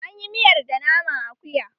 An yi miyar da naman akuya